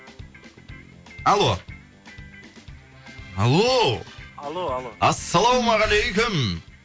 алло алло алло алло ассалаумағалейкум